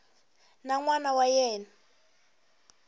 na n wana wa yena